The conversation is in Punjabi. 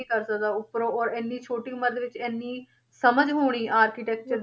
ਕਰ ਸਕਦਾ ਉਪਰੋਂ ਔਰ ਇੰਨੀ ਛੋਟੀ ਉਮਰ ਦੇ ਵਿੱਚ ਇੰਨੀ ਸਮਝ ਹੋਣੀ architecture